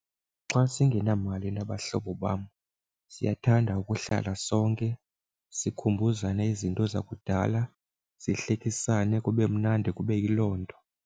Xa singenamali nabahlobo bam siyathanda ukuhlala sonke sikhumbuzane izinto zakudala, sihlekisane kube mnandi kube yiloo nto.